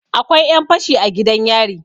akwai 'yanfashi a gidan yari